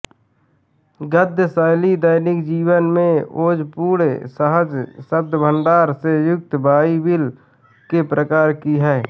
गद्य शैली दैनिक जीवन के ओजपूर्ण सहज शब्दभंडार से युक्त बाइबिल के प्रकार की है